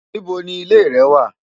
Níbo ni ilé rẹ wà?